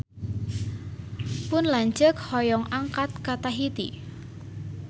Pun lanceuk hoyong angkat ka Tahiti